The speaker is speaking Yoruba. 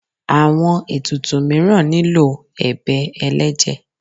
awọn etùtù miiran nílo ebè ẹlẹjẹ